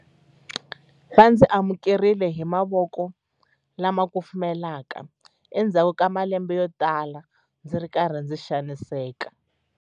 Va ndzi amukerile hi mavoko lama kufumelaka endzhaku ka malembe yotala ndzi ri karhi ndzi xaniseka.